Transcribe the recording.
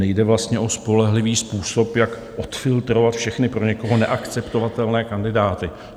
Nejde vlastně o spolehlivý způsob, jak odfiltrovat všechny pro někoho neakceptovatelné kandidáty.